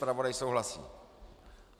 Zpravodaj souhlasí.